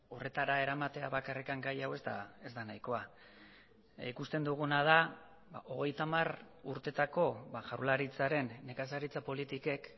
horretara eramatea bakarrik gai hau ez da nahikoa ikusten duguna da hogeita hamar urtetako jaurlaritzaren nekazaritza politikek